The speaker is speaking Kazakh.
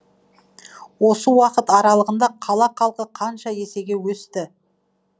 осы уақыт аралығында қала халқы қанша есеге өсті